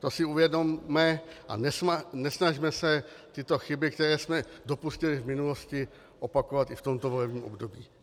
To si uvědomme a nesnažme se tyto chyby, kterých jsme dopustili v minulosti, opakovat i v tomto volebním období.